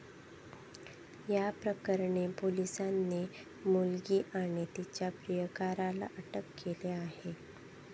या प्रकरणी पोलिसांनी मुलगी आणि तिच्या प्रियकराला अटक केली आहे.